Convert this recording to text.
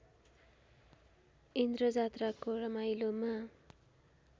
इन्द्रजात्राको रमाइलोमा